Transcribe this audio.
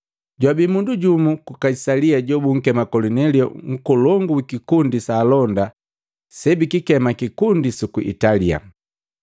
Jwabi mundu jumu ku Kaisalia jobunkema Kolinelio, nkolongu wi kikundi sa alonda sebikikema, “Kikundi suku Italia.”